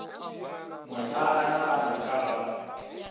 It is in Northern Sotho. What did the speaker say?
mohlala o nagana ka ga